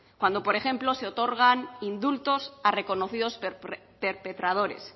cuando por ejemplo se otorgan indultos a reconocidos perpetradores